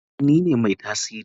Eh nine mai tasiri.